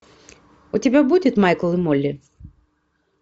у тебя будет майкл и молли